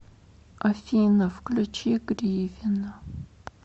афина включи гривина